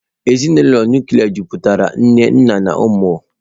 Ezinụlọ nụklịa mejupụtara nna, nne na ụmụ.